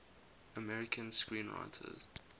american screenwriters